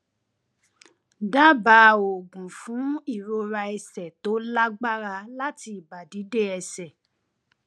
dábàá oògùn fún ìrora ẹsẹ tó lágbára láti ìbàdí dé ẹsẹ